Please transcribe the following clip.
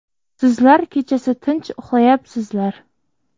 Sizlar kechasi tinch uxlayapsizlar.